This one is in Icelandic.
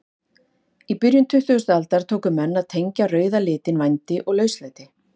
Í byrjun tuttugustu aldar tóku menn að tengja rauða litinn vændi og lauslæti.